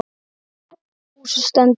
Húsið stendur enn.